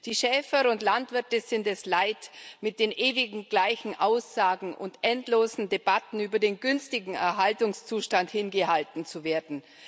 Die Schäfer und Landwirte sind es leid, mit den ewig gleichen Aussagen und endlosen Debatten über den günstigen Erhaltungszustand hingehalten zu werden.